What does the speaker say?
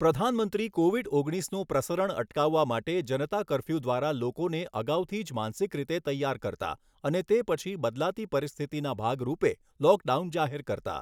પ્રધાનમંત્રી કોવિડ ઓગણીસનું પ્રસરણ અટકાવવા માટે જનતા કર્ફ્યુ દ્વારા લોકોને અગાઉથી જ માનસિક રીતે તૈયાર કરતા અને તે પછી બદલાતી પરિસ્થિતિના ભાગરૂપે લોકડાઉન જાહેર કરતા.